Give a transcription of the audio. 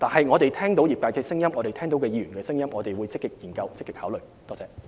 我們聽到業界及議員的聲音，我們會積極考慮和研究。